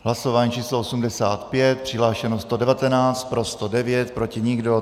Hlasování číslo 85, přihlášeno 119, pro 109, proti nikdo.